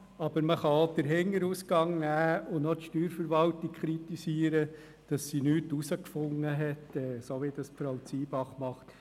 Man kann aber auch die Hintertür nehmen und noch die Steuerverwaltung dafür kritisieren, dass sie nichts herausgefunden hat, so wie es Frau Zybach getan hat.